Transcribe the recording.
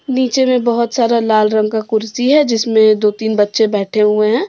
नीचे में बहुत सारा लाल रंग का कुर्सी है जिसमें दो तीन बच्चे बैठे हुए हैं।